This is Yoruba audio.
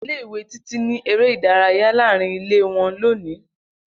Ile-iwe Titi n ni ere idaraya laarin ile wọn loni.